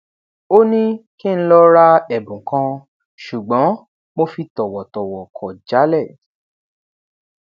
ó ní kí n lọ ra ẹbùn kan ṣùgbọn mo fi tòwòtòwò kò jálè